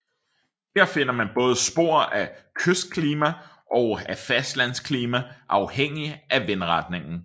Her finder man både spor af kystklima og af fastlandsklima afhængig af vindretningen